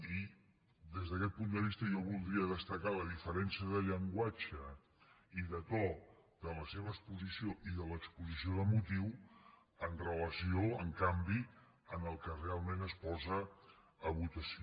i des d’aquest punt de vista jo voldria destacar la diferència de llenguatge i de to de la seva exposició i de l’exposició de motius en relació en canvi amb el que realment es posa a votació